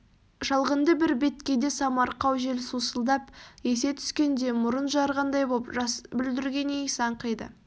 шалғынды бір беткейде самарқау жел сусылдап есе түскенде мұрын жарғандай боп жас бүлдірген иісі аңқиды